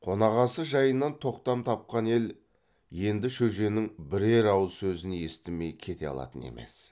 қонақасы жайынан тоқтам тапқан ел енді шөженің бірер ауыз сөзін естімей кете алатын емес